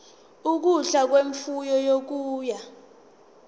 ukudla kwemfuyo okubuya